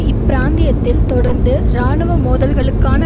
இப்பிராந்தியத்தில் தொடர்ந்து இராணுவ மோதல்களுக்கான